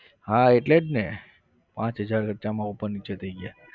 હા એટલે જ ને પાંચ હજાર ખર્ચામાં ઉપર નીચે થઇ ગયા.